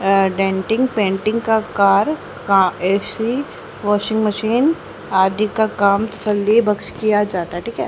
अह denting painting का car का AC washing machine आदि का काम तसल्ली बख्श किया जाता है ठीक है।